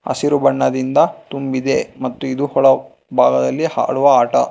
ಹಸಿರು ಬಣ್ಣದಿಂದ ತುಂಬಿದೆ ಮತ್ತು ಇದು ಹೊಳವ್ ಭಾಗದಲ್ಲಿ ಹಾರುವ ಆಟ.